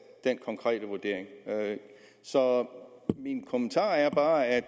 den konkrete vurdering så min kommentar er bare at